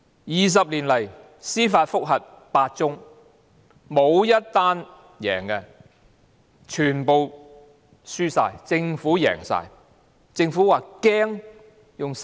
二十年來，司法覆核有8宗，沒有1宗成功，全部均敗訴，政府全部勝訴。